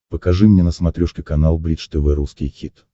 покажи мне на смотрешке канал бридж тв русский хит